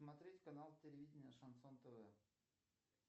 смотреть канал телевидения шансон тв